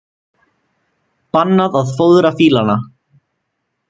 Bannað að fóðra fílana